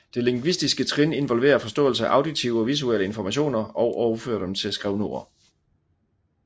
Det lingvistiske trin involverer forståelse af auditive og visuelle informationer og overføre dem til skrevne ord